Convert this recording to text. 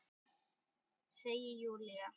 Segir Júlía.